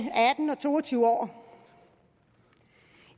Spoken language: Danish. atten og to og tyve år